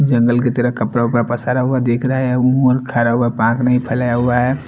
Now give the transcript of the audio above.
जंगल की तरह कपडा वपडा पसारा हुआ दिखरा है मुर खड़ा हुआ पाख नही फेलाया हुआ है।